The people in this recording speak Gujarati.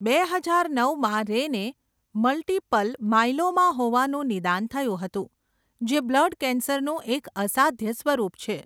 બે હજાર નવમાં, રેને મલ્ટિપલ માયલોમા હોવાનું નિદાન થયું હતું, જે બ્લડ કેન્સરનું એક અસાધ્ય સ્વરૂપ છે.